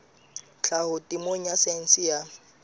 tlhaho temeng ya saense ya